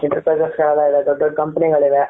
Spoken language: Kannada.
Enterprises ಜಾಗ ಇದೆ ದೊಡ್ಡ ದೊಡ್ಡ company ಗಳು ಇದೆ.